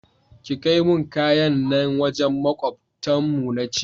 Ki kaimun kayan nan wajen makwabtan mu nace